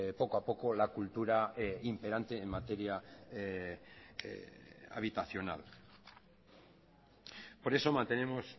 poco a poco la cultura imperante en materia habitacional por eso mantenemos